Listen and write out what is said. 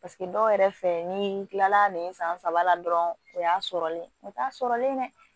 Paseke dɔw yɛrɛ fɛ ni kila la nin san saba la dɔrɔn o y'a sɔrɔlen o t'a sɔrɔlen dɛ